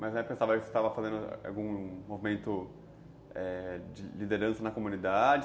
Mas na época você estava fazendo algum movimento, é... de liderança na comunidade?